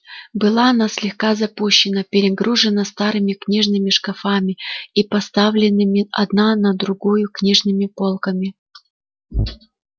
была она слегка запущена перегружена старыми книжными шкафами и поставленными одна на другую книжными полками